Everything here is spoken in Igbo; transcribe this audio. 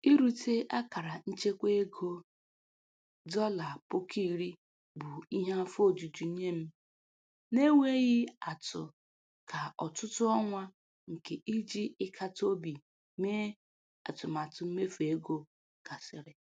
Irute akara nchekwa ego dọla puku iri bụ ihe afọ ojuju nye m n'enweghị atụ ka ọtụtụ ọnwa nke iji ịkata obi mee atụmatụ mmefu ego gasịrị.